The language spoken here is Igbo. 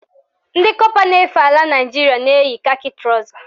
Ndị kọpa na-efe ala Naịjiria na-eyi kakị trọza